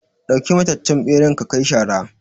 ɗauki mataccen ɓeran ka kai shara